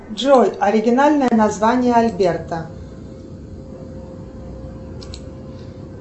джой оригинальное название альберта